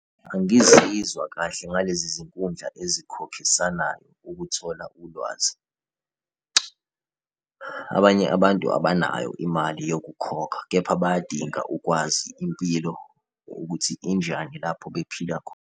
Angizizwa kahle ngalezi zinkundla ezikhokhisanayo ukuthola ulwazi. Abanye abantu abanayo imali yokukhokha, kepha bayadinga ukwazi impilo ukuthi injani lapho bephila .